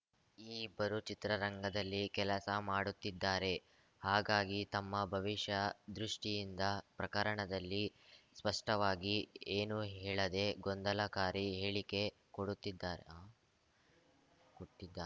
ಈ ಇಬ್ಬರೂ ಚಿತ್ರರಂಗದಲ್ಲಿ ಕೆಲಸ ಮಾಡುತ್ತಿದ್ದಾರೆ ಹಾಗಾಗಿ ತಮ್ಮ ಭವಿಷ್ಯ ದೃಷ್ಟಿಯಿಂದ ಪ್ರಕರಣದಲ್ಲಿ ಸ್ಪಷ್ಟವಾಗಿ ಏನೂ ಹೇಳದೆ ಗೊಂದಲಕಾರಿ ಹೇಳಿಕೆ ಕೊಡುತ್ತಿದ್ದಾರೆ ಆ ಕೊಟ್ಟಿದ್ದಾ